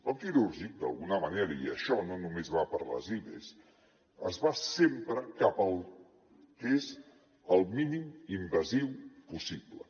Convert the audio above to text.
el quirúrgic d’alguna manera i això no només va per les ives es va sempre cap al que és el mínim invasiu possible